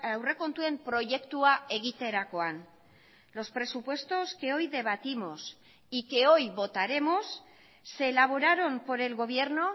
aurrekontuen proiektua egiterakoan los presupuestos que hoy debatimos y que hoy votaremos se elaboraron por el gobierno